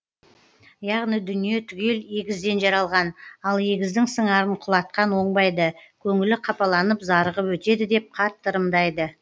яғни дүние түгел егізден жаралған ал егіздің сыңарын құлатқан оңбайды көңілі қапаланып зарығып өтеді деп қатты ырымдайды